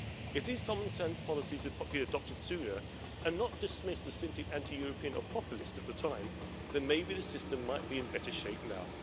If these common sense policies had been adopted sooner and not dismissed as simply anti European or populist at the time, then maybe the system might be in better shape now.